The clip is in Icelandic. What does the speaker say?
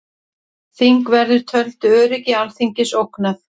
Þingverðir töldu öryggi Alþingis ógnað